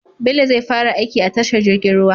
Bello zai fara aiki a tashar jirgin ruwa